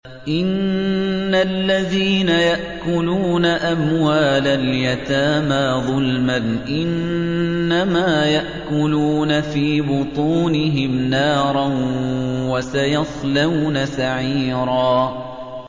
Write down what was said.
إِنَّ الَّذِينَ يَأْكُلُونَ أَمْوَالَ الْيَتَامَىٰ ظُلْمًا إِنَّمَا يَأْكُلُونَ فِي بُطُونِهِمْ نَارًا ۖ وَسَيَصْلَوْنَ سَعِيرًا